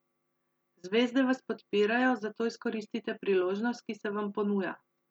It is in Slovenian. Zvezde vas podpirajo, zato izkoristite priložnost, ki se vam ponuja.